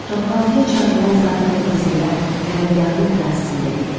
Toplantıya çağrılan zabit və gizirlər qərargahın ərazisində idi.